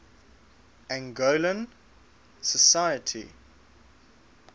angolan society